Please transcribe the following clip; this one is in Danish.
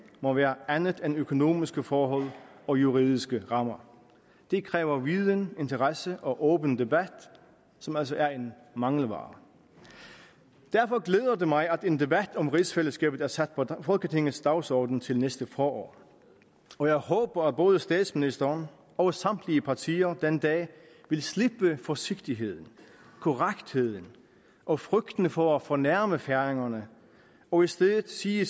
må være andet end økonomiske forhold og juridiske rammer det kræver viden interesse og åben debat som altså er en mangelvare derfor glæder det mig at en debat om rigsfællesskabet er sat på folketingets dagsorden til næste forår og jeg håber at både statsministeren og samtlige partier den dag vil slippe forsigtigheden korrektheden og frygten for at fornærme færingerne og i stedet sige